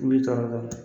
U b'i tɔɔrɔ dɔɔnin